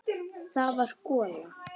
Það var gola.